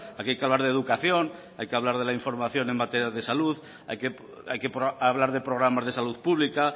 aquí hay que hablar de educación hay que hablar de la información en materias de salud hay que hablar de programas de salud pública